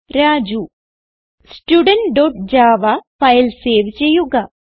studentജാവ file save ചെയ്യുക